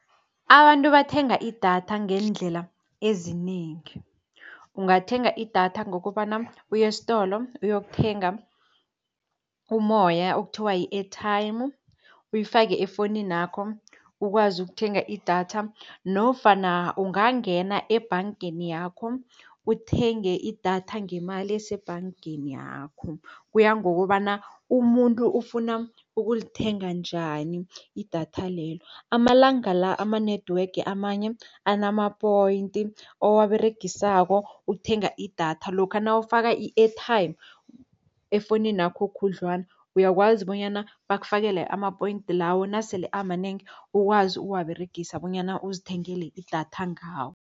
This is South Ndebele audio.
Abantu bathenga idatha ngeendlela ezinengi. Ungathenga idatha ngokobana uye estolo uyokuthenga umoya okuthiwa yi-airtime, uyifake efowunini yakho ukwazi ukuthenga idatha. Nofana ungangena ebhangeni yakho uthenge idatha ngemali esebhangeni yakho. Kuya ngokobana umuntu ufuna ukulithenga njani idatha lelo. Amalanga la ama-network amanye anamapoyinti owaberegisako ukuthenga idatha. Lokha nawufaka i-airtime efowunini yakho khudlwana, uyakwazi bonyana bakufakele ama-point lawo, nasele amanengi ukwazi ukuwaberegisa bonyana uzithengele idatha ngawo.